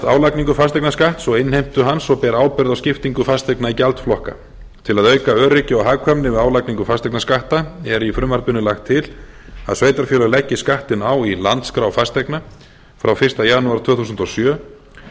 álagningu fasteignaskatts og innheimtu hans og ber ábyrgð á skiptingu fasteigna í gjaldflokka til að auka öryggi og hagkvæmni við álagningu fasteignaskatta er í frumvarpinu lagt til að sveitarfélög leggi skattinn á í landskrá fasteigna frá fyrsta janúar tvö þúsund og sjö